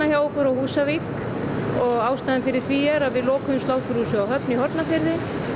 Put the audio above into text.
á Húsavík og ástæðan fyrir því er að við lokuðum sláturhúsi á Höfn í Hornafirði